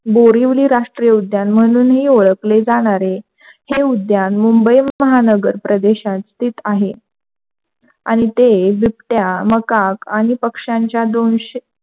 बोरिवली राष्ट्रीय उद्यान म्हणूनही ओळखले जाणार आहे. हे उद्यान मुंबई महानगर प्रदेशात स्थित आहे आणि ते बिबट्या मकाक आणि पक्षांच्या,